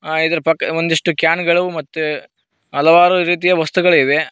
ಆ ಇದ್ರು ಪಕ್ಕ ಒಂದಿಷ್ಟು ಕ್ಯಾನ್ ಗಳು ಮತ್ತೆ ಹಲವಾರು ರೀತಿಯ ವಸ್ತುಗಳಿವೆ.